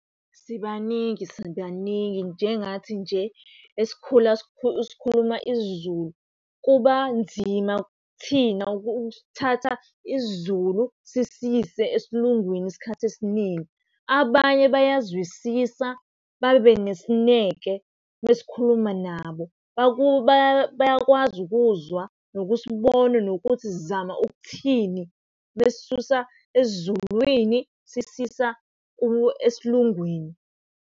Sibaningi sibaningi, njengathi nje esikhula sikhuluma isiZulu kuba nzima kuthina ukuthatha isiZulu sisiyise esiLungwini isikhathi esiningi. Abanye bayazwisisa babe nesineke mesikhuluma nabo bayakwazi ukuzwa, nokusibona, nokuthi sizama ukuthini mesisusa esiZulwini sisisa esiLungwini.